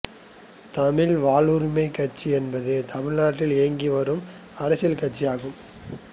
தமிழக வாழ்வுரிமைக் கட்சி என்பது தமிழ்நாட்டில் இயங்கி வரும் அரசியல் கட்சி ஆகும்